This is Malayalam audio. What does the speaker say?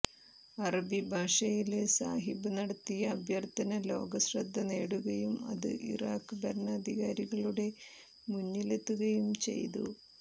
അറബി ഭാഷയില് സാഹിബ് നടത്തിയ അഭ്യര്ത്ഥന ലോക ശ്രദ്ധനേടുകയും അത് ഇറാഖ് ഭരണാധികാരികളുടെ മുന്നിലെത്തുകയും ചെയ്തു